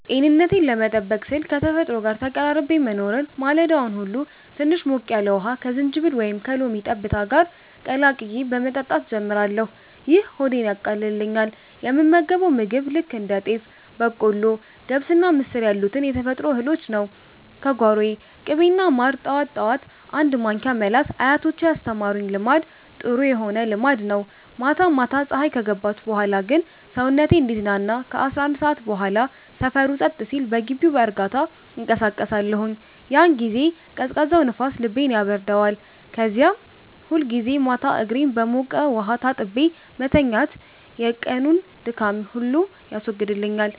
ጤንነቴን ለመጠበቅ ስል ከተፈጥሮ ጋር ተቀራርቤ መኖርን። ማለዳውን ሁሉ ትንሽ ሞቅ ያለ ውሃ ከዝንጅብል ወይም ከሎሚ ጠብታ ጋር ቀላቅዬ በመጠጣት ጀምራለሁ፤ ይህ ሆዴን ያቃልልኛል። የምመገበው ምግብ ልክ እንደ ጤፍ፣ በቆሎ፣ ገብስና ምስር ያሉትን የተፈጥሮ እህሎች ነው፤ ከጓሮዬ። ቅቤና ማርን ጠዋት ጠዋት አንድ ማንኪያ መላስ አያቶቼ ያስተማሩኝ ልማድ ጥሩ ሆነ ልማድ ነው። ማታ ማታ ፀሀይ ከገባች በኋላ ግን ሰውነቴ እንዲዝናና ከ11 ሰዓት በኋላ ሰፈሩ ጸጥ ሲል በግቢው በእርጋታ እንቀሳቀሳለሁኝ። ያን ጊዜ ቀዝቃዛው ንፋስ ልቤን ያበርደዋል። ከዚያ ሁልጊዜ ማታ እግሬን በሞቀ ውሃ ታጥቤ መተኛቴ የቀኑን ድካም ሁሉ ያስወግድልኛል።